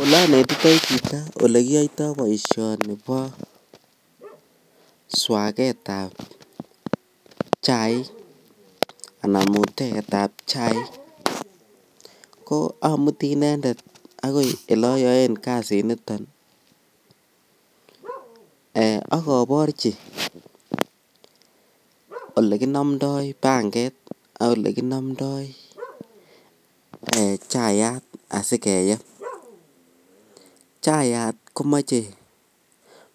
Olonetitoi chito olekiyoito boishonibo swaketab chaik anan mutetab chaik ko amuti inendet akoi eloyoen kasiniton ak koborchi olekinomndoi panget ak olekinomndoi chayat asikeyeb, chayat komoche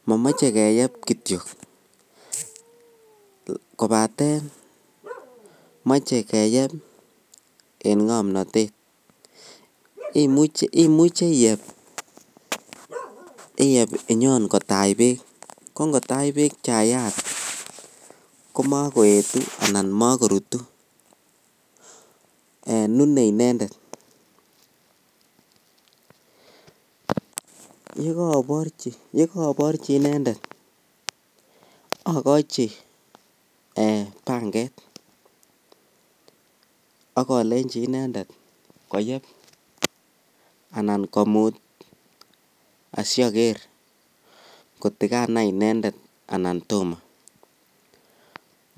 momoche keyeb kityo kobaten moche keyeb en ng'omnotet, imuche iyeb, iyeb inyon kotach beek, ko ng'otach beek chayat komokoetu anan mokorutu nunee inendet, yekooborchi inendet akochi Um panget ak olenchi inendet koyeb anan komut asioker koti kanai inendet anan tomoo,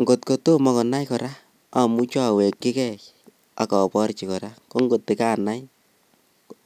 ng'ot kotomo konai kora amuche awekyike ak iborchi kora ko ng'ot kanai.